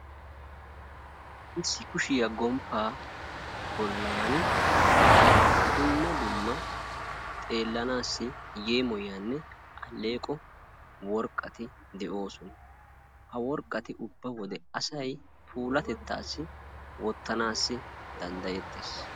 Issi kushiya gomppaa bollan dumma dumma xeellanaassi yeemoyiyanne alleeqqo worqqati de'oosona. Ha worqqati ubba wode asay puulatettaassi wottanaassi danddayettees.